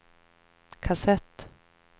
kassett